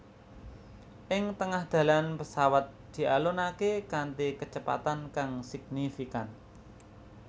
Ing tengah dalan pesawat dialonaké kanthi kecepatan kang signifikan